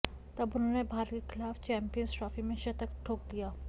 तब उन्होंने भारत के खिलाफ चैंपियंस ट्रॉफी में शतक ठोक दिया